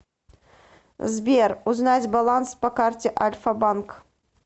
сбер узнать баланс по карте альфа банк